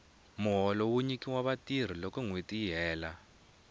muholo wu nyikiwa vatirhi loko nwheti yi hela